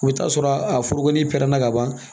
O bɛ taa sɔrɔ a foroko ni pɛrɛnna ka ban